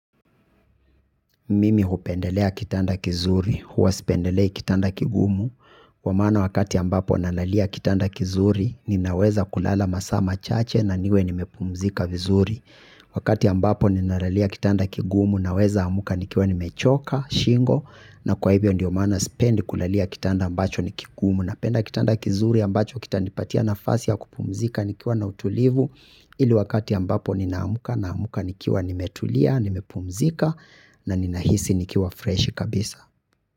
Mimi hupendelea kitanda kizuri, huwa sipendelei kitanda kigumu, kwa maana wakati ambapo nalalia kitanda kizuri, ninawezakulala masaa machache na niwe nimepumzika vizuri. Wakati ambapo ninalalia kitanda kigumu, nawezaamka nikiwa nimechoka, shingo, na kwa hivyo ndio maana sipendi kulalia kitanda ambacho ni kigumu, napenda kitanda kizuri ambacho kitanipatia nafasi ya kupumzika nikiwa na utulivu, ili wakati ambapo ninaamka naamka nikiwa nimetulia, nimepumzika, na ninahisi nikiwa freshi kabisa.